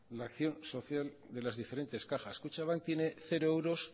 la acción social de las diferentes cajas kutxabank tiene cero euros